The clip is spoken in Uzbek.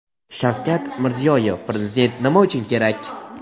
Shavkat Mirziyoyev "Prezident nima uchun kerak?"